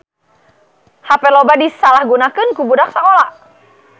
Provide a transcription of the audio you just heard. Hape loba disalahgunakeun ku budak sakola